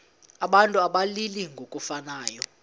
abantu abalili ngokufanayo